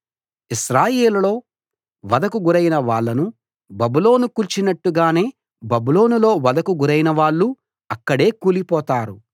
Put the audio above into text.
ఇశ్రాయేలులో వధకు గురైన వాళ్ళను బబులోను కూల్చినట్టుగానే బబులోనులో వధకు గురైన వాళ్ళు అక్కడే కూలిపోతారు